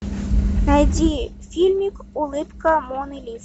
найди фильмик улыбка моны лизы